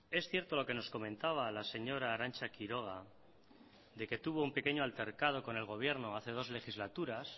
es cierto lo que nos comentaba la señora arantza quiroga de que tuvo un pequeño altercado con el gobierno hace dos legislaturas